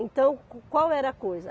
Então, qual era a coisa?